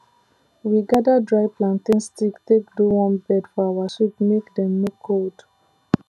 we gather dry plantain stick take do warm bed for our sheep make dem no cold